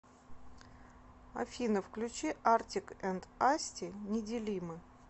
афина включи артик энд асти неделимы